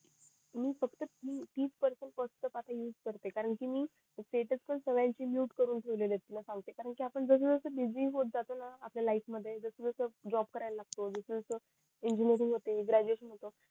मी फक्त तीस percent use करते कारण कि मी कि मी सेटस पण सगळयांना चे mute करून ठेवलेलंत येत ना खालती कारण आपण जस जस बीजी होत जातो ना अपयल्या लाईफ मध्ये जस जस जॉब करायला लागतो जस जस engineering होते graduation होते